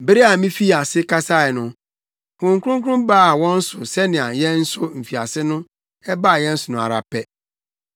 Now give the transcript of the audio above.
“Bere a mifii ase kasae no, Honhom Kronkron baa wɔn so sɛnea yɛn nso mfiase no, ɛbaa yɛn so no ara pɛ.